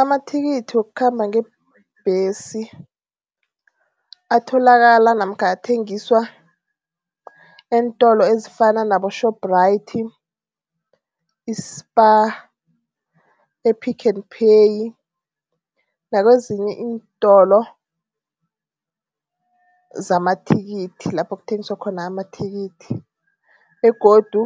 Amathikithi wokukhamba ngebhesi atholakala namkha athengiswa eentolo ezifana nabo-Shoprite, i-Spar, e-Pick n Pay nakwezinye iintolo zamathikithi, lapho kuthengiswa khona amathikithi begodu